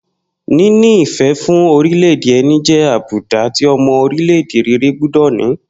Níní ìfé̩ fún orilé̩-èdè e̩ni jé̩ àbùdá tí o̩mo̩ orílè̩-èdè rere gbó̩dò̩ ní